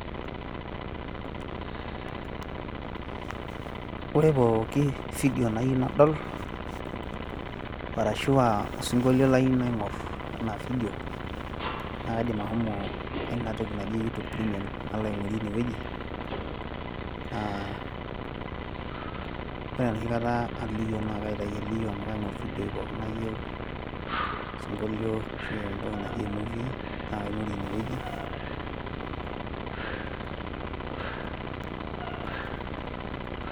ore pooki video nayieu naadol ashu osingolio layieu naing'or enaa video naa kaidim ashomo enatoki naji you tube premium, ore enoshikata aliyio naa kaing'or evidioi pooki nayieu osingolio ashu movies naing'or.